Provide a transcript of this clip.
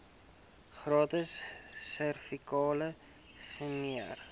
gratis servikale smere